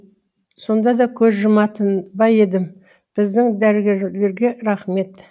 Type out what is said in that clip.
сонда да көз жұматын ба едім біздің дәрігерлерге рахмет